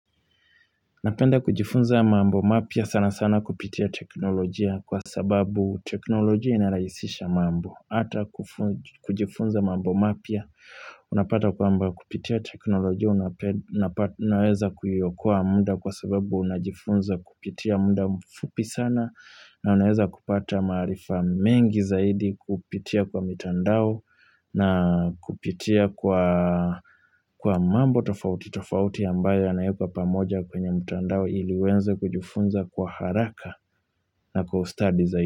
Napenda kujifunza mambo mapya sana sana kupitia teknolojia kwa sababu teknolojia inaraisisha mambo. Hata kufunj kujifunza mambo mapya, unapata kwamba kupitia teknolojia unape nnapa nnaweza kuiokoa mda kwa sababu unajifunza kupitia mda mfupi sana na unaweza kupata maarifa mengi zaidi kupitia kwa mitandao, na kupitia kwa kwa mambo tofauti tofauti ambayo yanaekwa pamoja kwenye mtandao ili wenze kujifunza kwa haraka na kwa ustadi zai.